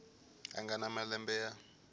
a nga na malembe ya